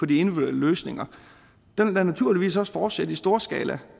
de individuelle løsninger den vil da naturligvis også fortsætte i storskala